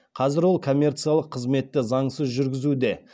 қазір олар коммерциялық қызметті заңсыз жүргізуде